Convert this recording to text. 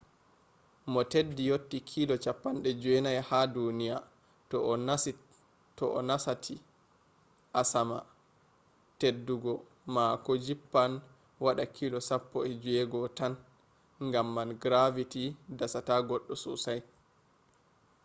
mo teddi yotti kilo 90 ha duniya to o nasati asama teddugo mako jippan waɗa kilo 16 tan gam man gravity dasata goɗɗo sosai